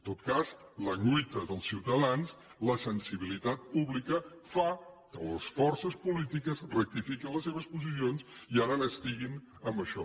tot cas la lluita dels ciutadans la sensibilitat pública fan que les forces polítiques rectifiquin les seves posicions i ara n’estiguin amb això